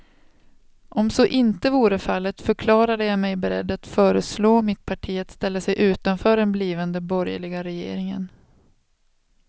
Om så inte vore fallet förklarade jag mig beredd att föreslå mitt parti att ställa sig utanför den blivande borgerliga regeringen.